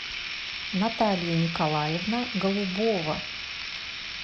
наталья николаевна голубова